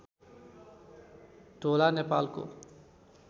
ढोला नेपालको